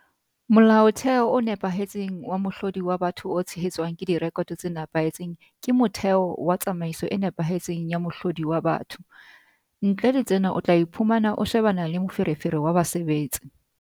Molaotheo o nepahetseng wa mohlodi wa batho o tshehetswang ke direkoto tse nepahetseng ke motheo wa tsamaiso e nepahetseng ya mohlodi wa batho. Ntle le tsena o tla iphumana o shebana le moferefere wa basebetsi.